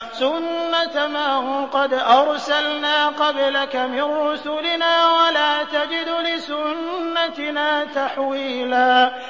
سُنَّةَ مَن قَدْ أَرْسَلْنَا قَبْلَكَ مِن رُّسُلِنَا ۖ وَلَا تَجِدُ لِسُنَّتِنَا تَحْوِيلًا